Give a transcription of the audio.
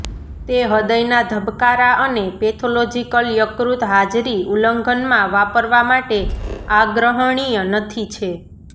તે હૃદયના ધબકારા અને પેથોલોજીકલ યકૃત હાજરી ઉલ્લંઘન માં વાપરવા માટે આગ્રહણીય નથી છે